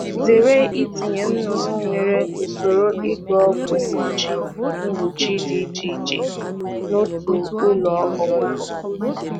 Zere itinye anụ ọkụkọ nwere usoro mgbasa ọgwụ dị iche iche n'otu usoro zụ anụ ọkụkọ.